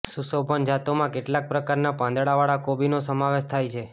સુશોભન જાતોમાં કેટલાંક પ્રકારના પાંદડાવાળા કોબીનો સમાવેશ થાય છે